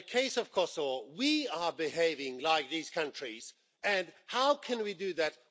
But in the case of Kosovo, we are behaving like these countries and how can we do that?